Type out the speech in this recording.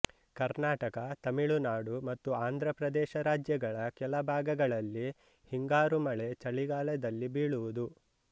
ಕರ್ನಾಟಕ ತಮಿಳುನಾಡು ಮತ್ತು ಆಂಧ್ರಪ್ರದೇಶ ರಾಜ್ಯಗಳ ಕೆಲ ಭಾಗಗಳಲ್ಲಿ ಹಿಂಗಾರು ಮಳೆ ಚಳಿಗಾಲದಲ್ಲಿ ಬೀಳುವುದು